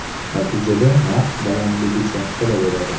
Natijada narx balandligicha qolaveradi.